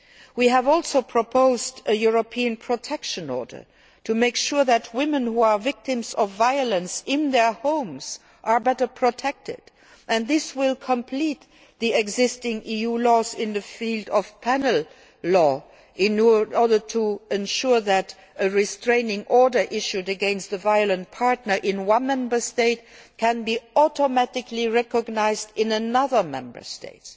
We have also proposed a European Protection Order to make sure that women who are victims of violence in their homes are better protected. This will complete the existing EU legislation in the field of penal law in order to ensure that a restraining order issued against a violent partner in one Member State can be automatically recognised in another Member State.